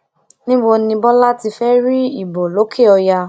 níbo ni bọlá ti fẹ́ rí ìbò lòkè ọyà